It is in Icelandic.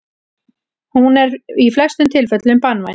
Hún er í flestum tilfellum banvæn.